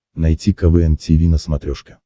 найти квн тиви на смотрешке